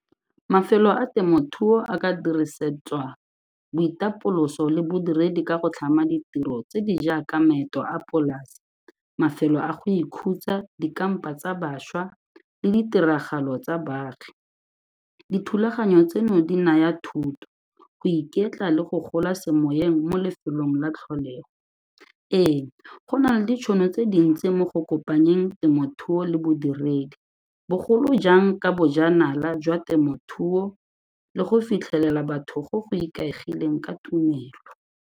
Mafelo a temothuo a ka dirisetswa boitapoloso le bodiredi ka go tlhama ditiro tse di jaaka maeto a polase, mafelo a go ikhutsa, dikampa tsa bašwa le ditiragalo tsa baagi, dithulaganyo tseno di naya thuto, go iketla le go gola semoyeng mo lefelong la tlholego. Ee, go na le ditšhono tse dintsi mo go kopanyeng temothuo le bodiredi, bogolo jang ka bojanala jwa temothuo le go fitlhelela batho go go ikaegileng ka tumelo.